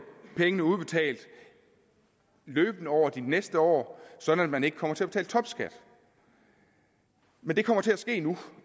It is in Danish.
pengene udbetalt løbende over de næste år sådan at man ikke kommer til at betale topskat men det kommer til at ske nu